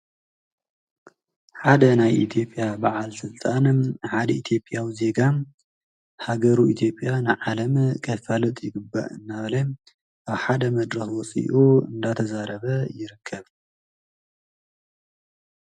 ሓደ ናይ ኢትዮጵያ ባዓል ስልጣንን ሓደ ኢትዮጵያዊ ዜጋ ሃገሩ ኢትዮጵያ ንዓለም ከፋልጡ ይግባእ እንዳበለ ኣብ ሓደ መድረኽ ወፂኡ እናተዛረበ ይርከብ፡፡